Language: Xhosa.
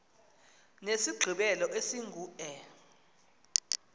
nesigqibelo esingu e